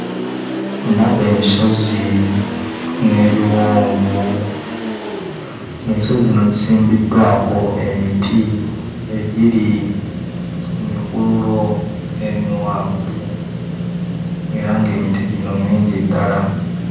Ndaba ensozi n'ebiwonvu ng'ensozi zino zisimbiddwako emiti egiri mu mikululo emiwanvu era ng'emiti gino mingi ddala.